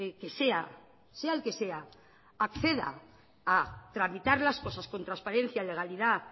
que sea sea el que sea acceda a tramitar las cosas con transparencia legalidad